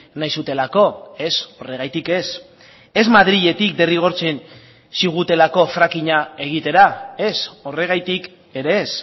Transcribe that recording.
nahi zutelako ez horregatik ez ez madriletik derrigortzen zigutelako frackinga egitera ez horregatik ere ez